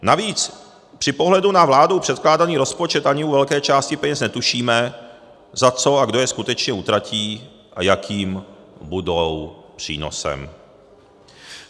Navíc při pohledu na vládou předkládaný rozpočet ani u velké části peněz netušíme, za co a kdo je skutečně utratí a jakým budou přínosem.